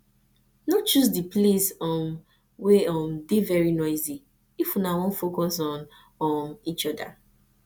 no choose di place um wey um dey very noisy if una wan focus on um each oda